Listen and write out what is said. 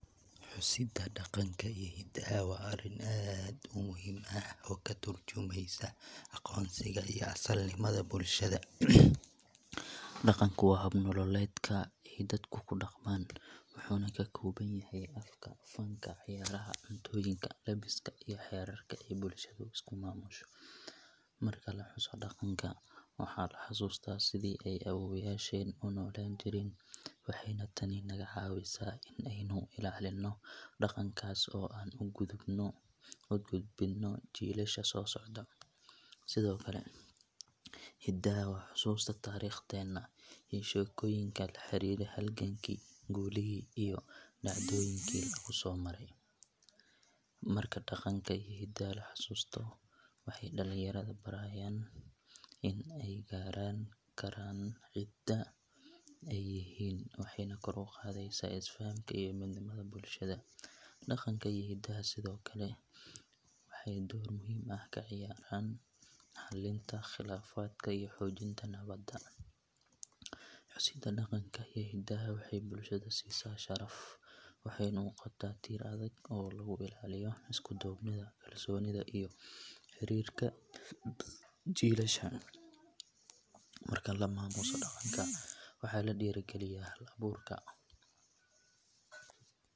Husida daganka iya hidaha wa ariin aad umuxiim ah, oo katarjumeysa agoonsiga iyo asliga bulshada, daganku wa hab nololedka ay dadka kudagman, wuxuna kakobanyaxay afka, fanka, ciyaraha, cuntoyinka, labiska iyo waxyala ey bulshada ay iskumamusho, marka lahuso daganka waxa lahasusta sidhi ay awowyashen unolanjiren, waxay na taani nagacawisaa in ay nu ilalino dagankas oo ugudbino jilasha sosocdo, Sidhokale hidaha wa xususta tarigtena iyo shekoyinka laharira halganki gulihi iyo dacdoyinki kusomaray, marka daganka iyo hidaha lahasusto waxay dalinyarada barayan in ay garankaran in cidaa aya yihin waxayna kor ugadeysa isfahamka iyo midnimada bulshada, daganka iyo hidaha Sidhokale waxay door muxiim ah kaciyaran xalinta qilafadka iyo hojinta nawada, husida daganka iyo hidaha waxay bulshada sisaa sharaf, waxayna nogota tiir adag oo lagulataliyo iskudubnida bulshada iyo xirirka jilasha, marka lamamuso daganka waxa ladiragaliya halaburka.